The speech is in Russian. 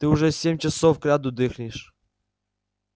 ты уже семь часов кряду дрыхнешь